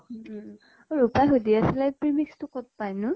উম উম উম ৰূপা সুধি আছিলে premix টো কʼত পায় নো?